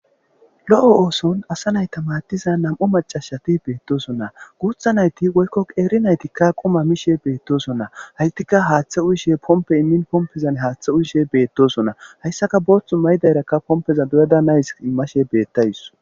Lo'o oothon asa nayta maadiza nam'u maccasati beetosona. Guutha nayti woykko qeeri nayti quma mishe betosona. Haytika haaththe uyishe pompe immin pompezan haathe uyishe beetoosona. Haysako booththu mayidara pompe doyada nayis immashe beetawus.